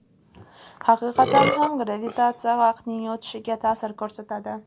Haqiqatan ham gravitatsiya vaqtning o‘tishiga ta’sir ko‘rsatadi.